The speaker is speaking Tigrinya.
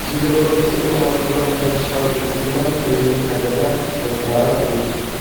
እዚ ሎጎ ብጽቡቕ መልክዑ ንሕርሻዊ ብልጽግናን ዕብየትን ሃገርና ዘንጸባርቕ እዩ!